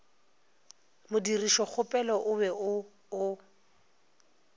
modirišokgopelo o be o o